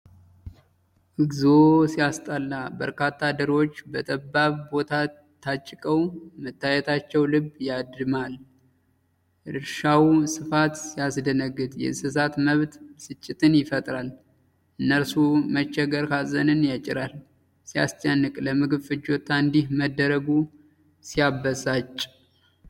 እግዚኦ ሲያስጠላ! በርካታ ዶሮዎች በጠባብ ቦታ ታጭቀው መታየታቸው ልብ ያደማል። የእርሻው ስፋት ሲያስደነግጥ! የእንስሳት መብት ብስጭትን ይፈጥራል። የእነርሱ መቸገር ሀዘንን ያጭራል። ሲያስጨንቅ! ለምግብ ፍጆታ እንዲህ መደረጉ ሲያበሳጭ!